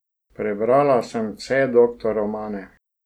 Prebrala sem vse doktor romane.